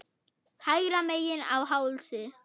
Hægra megin á hálsi.